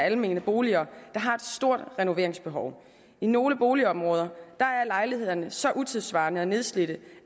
af almene boliger der har et stort renoveringsbehov i nogle boligområder er lejlighederne så utidssvarende og nedslidte